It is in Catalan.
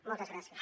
moltes gràcies